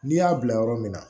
N'i y'a bila yɔrɔ min na